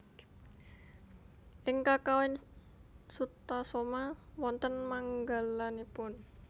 Ing Kakawin Sutasoma wonten manggalanipun